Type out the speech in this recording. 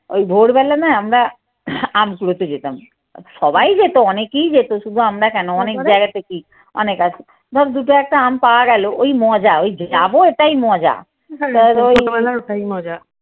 ওই ভোরবেলা নয় আমরা আম কুড়োতে যেতাম। সবাই যেত, অনেকেই যেত শুধু আমরা কেন? অনেক জায়গা থেকেই অনেক আছে। ধরো দুটো একটা আম পাওয়া গেল ওই মজা ওই যাব ওটাই মজা।